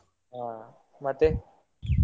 ಹಾ ಮತ್ತೆ?